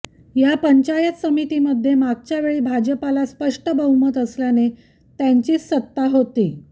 या पंचायत समितीमध्ये मागच्या वेळी भाजपला स्पष्ट बहुमत असल्याने त्यांचीच सत्ता होती